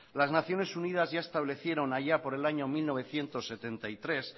las naciones unidas ya establecieron allá por el año mil novecientos setenta y tres